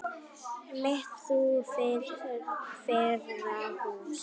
mitt þú friðar hús.